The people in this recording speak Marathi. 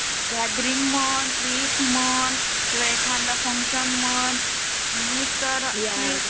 गॅदरिंग म्हण, ट्रिप म्हण किंवा एखादा फंक्शन म्हण नाही तर